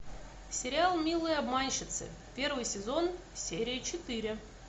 сериал милые обманщицы первый сезон серия четыре